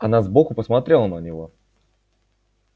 она сбоку посмотрела на него